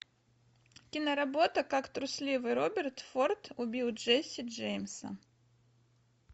киноработа как трусливый роберт форд убил джесси джеймса